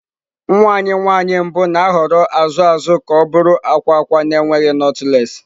Nwa anyị nwanyị mbụ na-ahọrọ azụ azụ ka ọ bụrụ akwa akwa na-enweghị knotless.